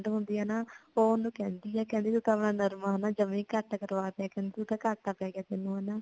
ਹੁੰਦੀ ਹੈ ਨਾ ਓ ਓਨੁ ਕਹਿੰਦੀ ਹੈ ਕਿ ਨਰਮਾ ਨਾ ਜਮੀ ਘਟ ਕਰਵਾ ਦਯਾ ਕਹਿੰਦੀ ਘਾਟਾ ਪੈ ਗਿਆ ਤੈਨੂੰ ਹੇਨਾ